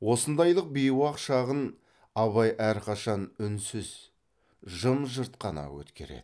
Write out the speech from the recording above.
осындайлық бейуақ шағын абай әрқашан үнсіз жым жырт қана өткереді